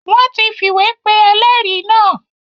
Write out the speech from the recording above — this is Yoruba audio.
Wọ́n ti fìwé pe ẹlẹ́rìí náà.